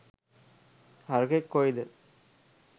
හරකෙක් කොයිද